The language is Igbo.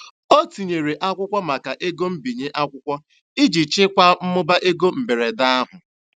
Ọ tinyere akwụkwọ maka ego mbinye akwụkwọ iji jikwaa mmụba ego mberede ahụ.